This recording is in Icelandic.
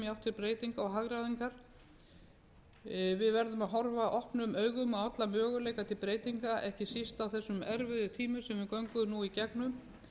til breytinga og hagræðingar við verðum að horfa opnum augum á alla möguleika til breytinga ekki síst á þessum erfiðu tímum sem við göngum nú í gegnum ég tel að nú sé tími